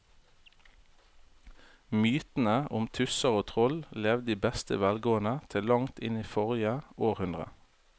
Mytene om tusser og troll levde i beste velgående til langt inn i forrige århundre.